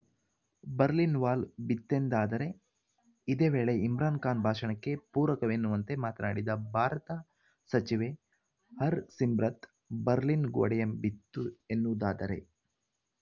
Berlin wall ಬಿತ್ತೆಂದಾದರೆ ಇದೇ ವೇಳೆ ಇಮ್ರಾನ್‌ ಖಾನ್‌ ಭಾಷಣಕ್ಕೆ ಪೂರಕವೆನ್ನುವಂತೆ ಮಾತನಾಡಿದ ಭಾರತ ಸಚಿವೆ ಹರ್‌ಸಿಮ್ರತ್‌ ಬರ್ಲಿನ್‌ ಗೋಡೆಯೇ ಬಿತ್ತು ಎನ್ನುವುದಾದರೆ